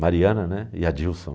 Mariana, né? E Adilson.